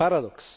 Paradox.